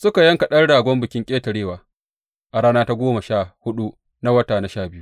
Suka yanka ɗan ragon Bikin Ƙetarewa a rana ta goma sha huɗu na wata na biyu.